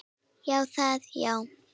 Já, það já.